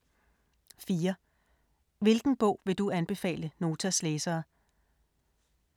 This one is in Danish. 4) Hvilken bog vil du anbefale Notas læsere?